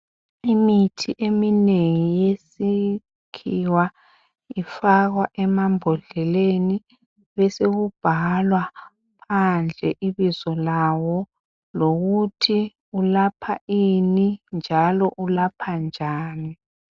Imithi eminengi yeskhiwa ifakwa emambodleleni, besekubhalwa phandle ibizo lawo lokuthi ulapha ini, njalo ulapha njani.